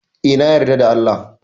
Eh, na yarda da Allah.